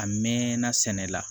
A mɛn na sɛnɛ la